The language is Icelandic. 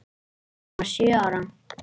Hann var sjö ára.